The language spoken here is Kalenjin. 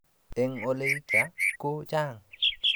Eng' ole kitononi namet ab asoya ko chang'